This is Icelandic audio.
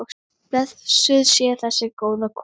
Blessuð sé þessi góða kona.